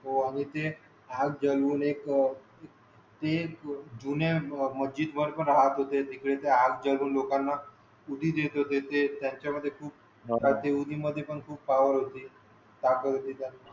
हो आणि ते हात जाडून एक ते जुन्या मजीत वर पण राहत होते तिकडे ते हात जाडून ते लोकाना उधी देत होते त्यांच्या मध्ये खूप त्या उधी मध्ये पण खूप पावर ताकत होती